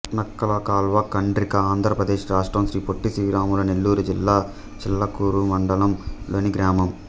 నక్కలకాల్వ ఖండ్రిక ఆంధ్ర ప్రదేశ్ రాష్ట్రం శ్రీ పొట్టి శ్రీరాములు నెల్లూరు జిల్లా చిల్లకూరు మండలం లోని గ్రామం